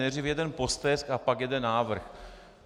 Nejdřív jeden postesk a pak jeden návrh.